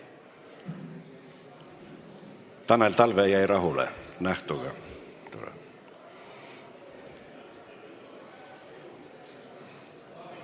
Tanel Talve jäi nähtuga rahule.